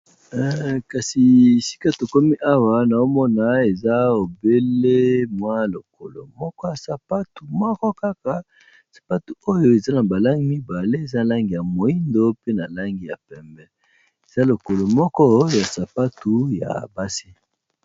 Kasi esika tokomi awa nao mona eza obele mwa lokolo moko ya sapatu moko kaka. Sapatu oyo eza na ba langi mibale eza langi ya moyindo, pe na langi ya pembe, eza lokolo moko ya sapatu ya basi.